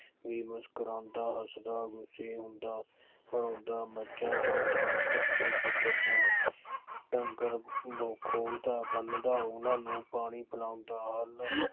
ਬੇਵੱਸ ਮੁਸਕਰਾਉਦਾ, ਹੱਸਦ ਵਿੱਚੇ ਰੋਂਦਾ, ਮੱਝਾਂ ਚੋਂਦਾਂ, ਪੱਠੇ ਕੁਤਰਦਾ, ਢੰਗਰ ਖੋਲਦਾ, ਬੰਨ੍ਹਦਾ, ਉਹਨਾ ਨੂੰ ਪਾਣੀ ਪਿਲਾਉਂਦਾ, ਹੱਲ